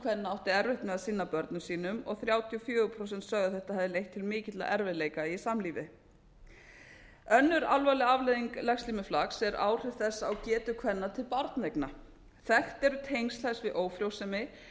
kvenna átti erfitt með að sinna börnum sínum og þrjátíu og fjögur prósent sagði að þetta hefði leitt til mikilla erfiðleika í samlífi önnur alvarleg afleiðing legslímuflakks eru áhrif þess á getu kvenna til barneigna þekkt eru tengsl þess við ófrjósemi